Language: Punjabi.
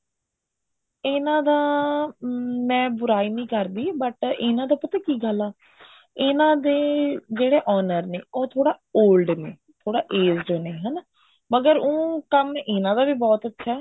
ਇਹਨਾ ਦਾ ਮੈਂ ਬੁਰਾਈ ਨਹੀਂ ਕਰਦੀ but ਇਹਨਾ ਦਾ ਪਤਾ ਕੀ ਗੱਲ ਐ ਇਹਨਾ ਦੇ ਜਿਹੜੇ owner ਨੇ ਉਹ ਥੋੜਾ old ਨੇ ਥੋੜਾ aged ਨੇ ਹਨਾ ਮਗਰ ਉਹ ਕੰਮ ਇਹਨਾ ਦਾ ਵੀ ਬਹੁਤ ਅੱਛਾ